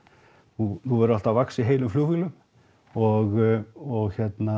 þú verður alltaf að vaxa í heilum flugvélum og